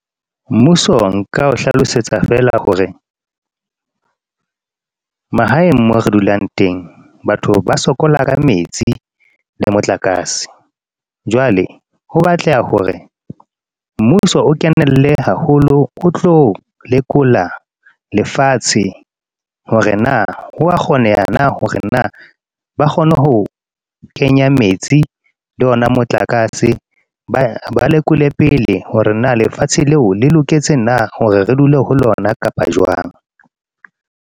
Mmuso nka o hlalosetsa feela hore mahaeng mo re dulang teng. Batho ba sokola ka metsi le motlakase. Jwale ho batleha hore mmuso o kenele haholo, o tlo lekola lefatshe hore na hoa kgoneha, na hore na ba kgone ho kenya metsi le ona motlakase. Ba lekole pele hore na lefatshe leo le loketse na hore re dule ho lona kapa jwang.